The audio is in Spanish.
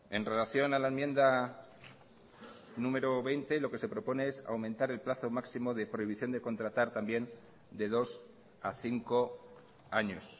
en relación a la enmienda número veinte lo que se propone es aumentar el plazo máximo de prohibición de contratar también de dos a cinco años